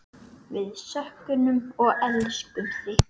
Við söknum og elskum þig.